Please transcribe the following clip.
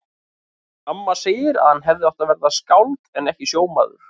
Amma segir að hann hefði átt að verða skáld en ekki sjómaður.